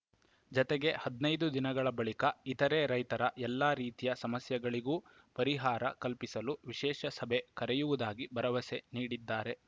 ಜತೆಗೆ ಹದಿನೈದು ದಿನಗಳ ಬಳಿಕ ಇತರೆ ರೈತರ ಎಲ್ಲ ರೀತಿಯ ಸಮಸ್ಯೆಗಳಿಗೂ ಪರಿಹಾರ ಕಲ್ಪಿಸಲು ವಿಶೇಷ ಸಭೆ ಕರೆಯುವುದಾಗಿ ಭರವಸೆ ನೀಡಿದ್ದಾರೆ